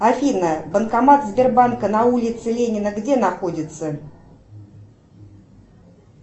афина банкомат сбербанка на улице ленина где находится